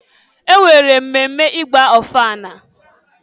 E nwere mmemme ị gba ọfala.